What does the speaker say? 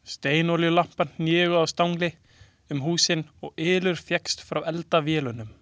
Steinolíulampar héngu á stangli um húsin og ylur fékkst frá eldavélunum.